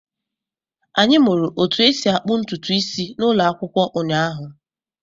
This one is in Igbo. Anyị mụrụ otú e si akpụ ntutu isi n'ụlọ akwụkwọ ụnyaahụ.